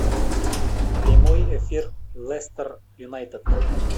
прямой эфир лестер юнайтед